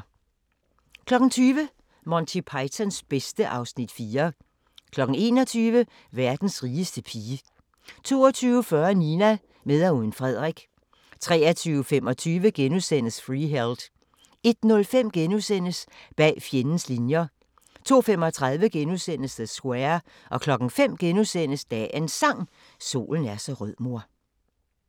20:00: Monty Pythons bedste (Afs. 4) 21:00: Verdens rigeste pige 22:40: Nina – med og uden Frederik 23:25: Freeheld * 01:05: Bag fjendens linjer * 02:35: The Square * 05:00: Dagens Sang: Solen er så rød mor *